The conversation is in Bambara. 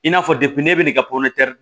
I n'a fɔ ne bɛ na ka